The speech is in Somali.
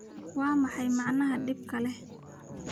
Waa maxay macnaha dhibka leh?